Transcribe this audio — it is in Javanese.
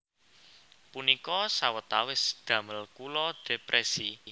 Punika sawetawis damel kula depresi